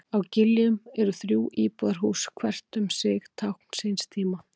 Á Giljum eru þrjú íbúðarhús, hvert um sig tákn síns tíma.